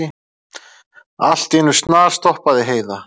Allt í einu snarstoppaði Heiða.